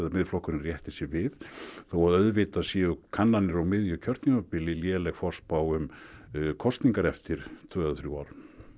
Miðflokkurinn rétti sig við þó að auðvitað séu kannanir á miðju kjörtímabili léleg forspá um kosningar eftir tvö eða þrjú ár